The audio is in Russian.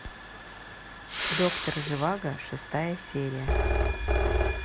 доктор живаго шестая серия